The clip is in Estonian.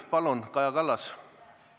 Palun, Kaja Kallas!